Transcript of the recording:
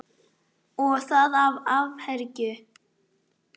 Og það af áfergju.